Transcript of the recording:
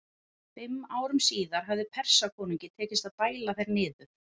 Fimm árum síðar hafði Persakonungi tekist að bæla þær niður.